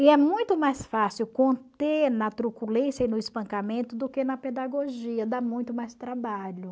E é muito mais fácil conter na truculência e no espancamento do que na pedagogia, dá muito mais trabalho.